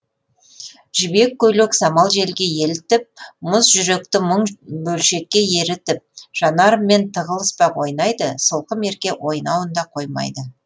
жібек көйлек самал желге елітіп мұз жүректі мың бөлшекке ерітіп жанарыммен тығылыспақ ойнайды сылқым ерке ойнауында қоймайды